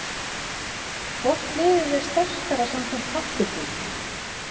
Hvort liðið er sterkara samkvæmt pappírnum?